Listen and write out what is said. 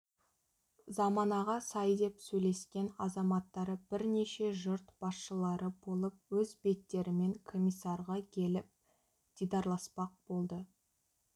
заманаға сай деп сөйлескен азаматтары бірнеше жұрт басшылары болып өз беттерімен комиссарға келіп дидарласпақ болды